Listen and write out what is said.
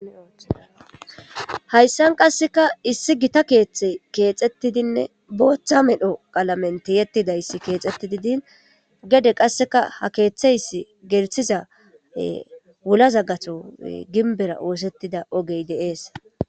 hayssan qasseka issi gita keeththe keexxettidinne booththa medho qalamente yettidayssi keexxettididin gede qasseka ha keeththeyssi gerthiza wulaza gato ginbera oosettida ogey deees